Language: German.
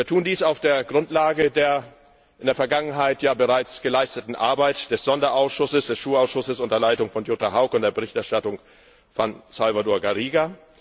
Wir tun dies auf der Grundlage der in der Vergangenheit bereits geleisteten Arbeit des Sonderausschusses, des SURE Ausschusses, unter Leitung von Jutta Haug und der Berichterstattung von Salvador Garriga.